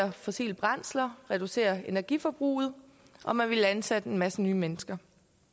af fossile brændsler reducere energiforbruget og man ville ansætte en masse nye mennesker